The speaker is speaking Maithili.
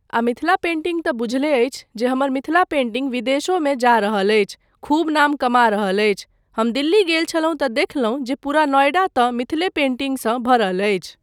आ मिथिला पेंटिङ्ग तँ बुझले अछि जे हमर मिथिला पेंटिङ्ग विदेशोमे जा रहल अछि, खूब नाम कमा रहल अछि, हम दिल्ली गेल छलहुँ तँ देखलहुँ जे पूरा नॉएडा तँ मिथिले पेंटिङ्गसंँ भरल अछि।